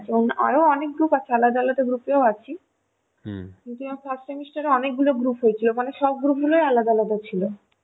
আরো অনেক group আছে আলাদা আলাদা group এও আছি যদিও first semester এ অনেক group হয়েছিল মানে সব group গুলি আলাদা আলাদা ছিল